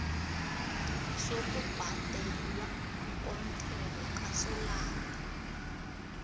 sokubhadelwa komthelo kasolanga